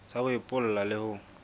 sa ho epolla le ho